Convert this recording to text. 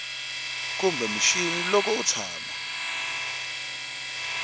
kumbe mixini loko u tshama